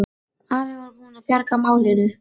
Afi var búinn að bjarga málinu.